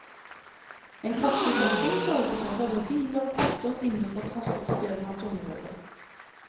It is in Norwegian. En kraftig kjetting sørger for å holde biler og pakker inne på transportfirmaets område.